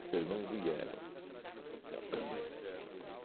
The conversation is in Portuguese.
Vocês não vieram. Uhn